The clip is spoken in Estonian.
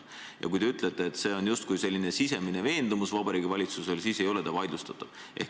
Aga kui te ütlete, et kaitseolukorra puhul on tegu justkui Vabariigi Valitsuse sisemise veendumusega, siis see ei ole vaidlustatav.